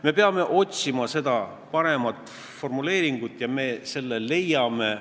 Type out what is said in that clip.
Me peame otsima paremat formuleeringut ja me leiame selle.